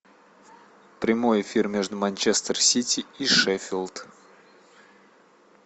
прямой эфир между манчестер сити и шеффилд